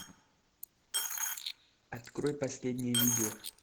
открой последнее видео